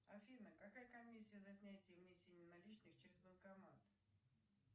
афина какая комиссия за снятие и внесение наличных через банкомат